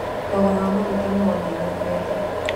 Thogora wa maguta nĩ wongererekete